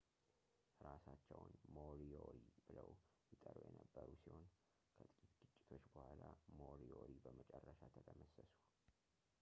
እራሳቸውን moriori ብለው ይጠሩ የነበር ሲሆን ከጥቂት ግጭቶች በኋላ moriori በመጨረሻ ተደመሰሱ